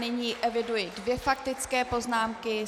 Nyní eviduji dvě faktické poznámky.